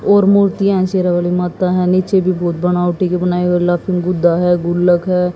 और मूर्तियां है शेरावाली माता हैं नीचे भी बहुत बनावटी के बनाई हुई लाफिंग गुड्डा है गुल्लख है।